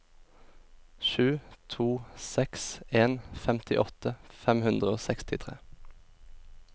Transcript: sju to seks en femtiåtte fem hundre og sekstitre